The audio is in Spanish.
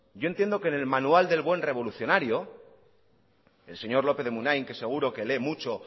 yo entiendo que en el manual del buen revolucionario el señor lópez de munain que seguro que lee mucho